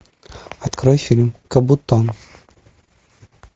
открой фильм кабуто